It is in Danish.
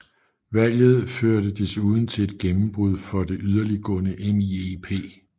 Valget førte desuden til et gennembrud for det yderligtgående MIEP